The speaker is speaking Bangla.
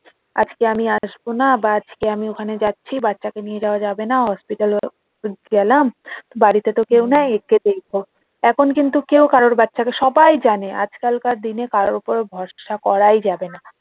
আজকে আমি আসবো না বা আজকে আমি যাচ্ছি বাচ্চাকে নিয়ে যাওয়া যাবে না hospital এ গেলাম বাড়িতে তো কেউ নাই একটু দেখবা তখন কিন্তু কেউ কারোর বাচ্চাকে সবাই জানে আজ কাল কার দিনে কারোর ওপর ভরসা করাই যাবে না।